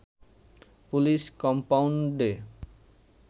police কম্পাউন্ডে